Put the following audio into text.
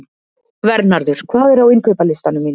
Vernharður, hvað er á innkaupalistanum mínum?